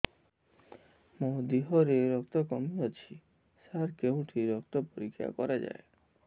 ମୋ ଦିହରେ ରକ୍ତ କମି ଅଛି ସାର କେଉଁଠି ରକ୍ତ ପରୀକ୍ଷା କରାଯାଏ